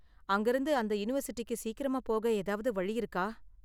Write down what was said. அங்க இருந்து அந்த யூனிவர்சிட்டிக்கு சீக்கிரமா போக ஏதாவது வழி இருக்கா?